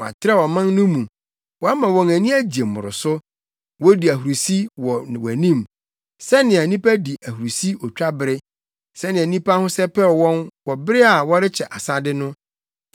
Woatrɛw ɔman no mu woama wɔn ani agye mmoroso wodi ahurusi wɔ wʼanim sɛnea nnipa di ahurusi otwabere, sɛnea nnipa ho sɛpɛw wɔn wɔ bere a wɔrekyɛ asade no.